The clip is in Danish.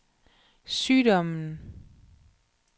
sygdommen